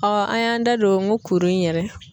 an y'an da don n ko kuru in yɛrɛ